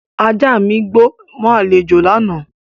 Ajá mi gbó mọ́ àlejò lánàá